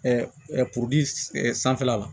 puruki sanfɛla la